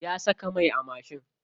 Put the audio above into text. Ya saka mai a mashin.